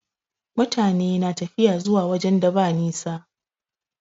Mutane na tafiya zuwa wajen da ba nisa.